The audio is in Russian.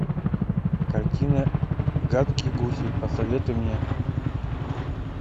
картина гадкие гуси посоветуй мне